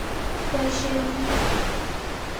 Boisienyi